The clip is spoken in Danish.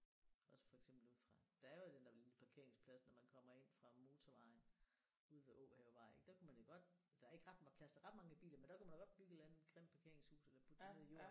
Også for eksempel ude fra der er jo den der lille parkeringsplads når man kommer ind fra motorvejen ude ved Åhavevej ik der kunne man jo godt der er ikke ret plads til ret mange biler men der kunne man jo godt bygge en eller anden grim parkeringshus eller putte det ned i jorden